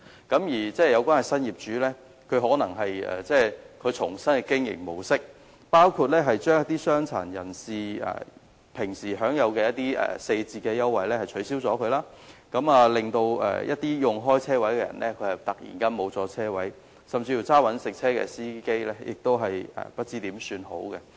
新的業主採用新的經營模式，包括取消傷殘人士平時享有的四折優惠，令原本使用車位的人士突然失去車位，一些職業司機失去車位更不知如何是好。